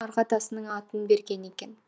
арғы атасының атын берген екен